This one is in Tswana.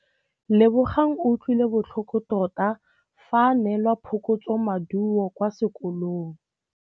Lebogang o utlwile botlhoko tota fa a neelwa phokotsômaduô kwa sekolong.